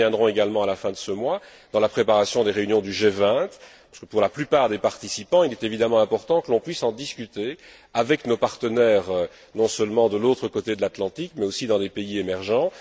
Nous y reviendrons également à la fin de ce mois, dans la préparation des réunions du G20 parce que, pour la plupart des participants, il est évidemment important que l'on puisse en discuter avec nos partenaires non seulement de l'autre côté de l'Atlantique, mais aussi dans des pays émergents.